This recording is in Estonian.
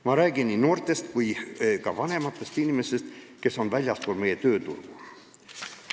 Ma räägin nii noortest kui ka vanematest inimestest, kes on jäänud väljapoole tööturgu.